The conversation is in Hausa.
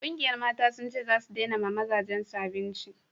ƙungiyar Mata sun ce zasu dena ma mazajen su abinci